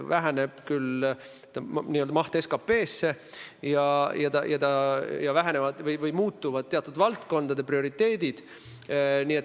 Väheneb küll n-ö maht võrreldes SKP-ga ja muutuvad teatud valdkondade prioriteedid.